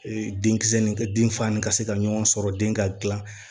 denkisɛ nin den fa ni ka se ka ɲɔgɔn sɔrɔ den ka gilan